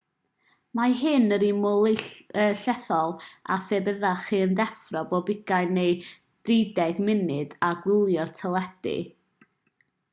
mae hyn yr un mor llethol â phe byddech chi'n deffro pob ugain neu drideg munud a gwylio'r teledu